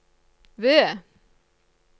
V